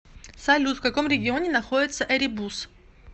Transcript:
салют в каком регионе находится эребус